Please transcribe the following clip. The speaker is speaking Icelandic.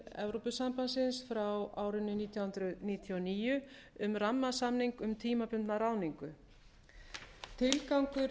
ráðsins nítján hundruð níutíu og níu sjötíu e b um rammasamning um tímabundna ráðningu tilgangur